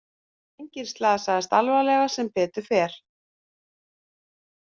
Enginn slasaðist alvarlega sem betur fer